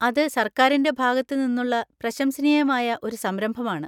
അത് സർക്കാരിൻ്റെ ഭാഗത്ത് നിന്നുള്ള പ്രശംസനീയമായ ഒരു സംരംഭമാണ്.